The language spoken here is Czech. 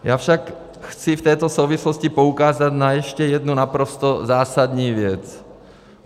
Já však chci v této souvislosti poukázat na ještě jednu naprosto zásadní věc.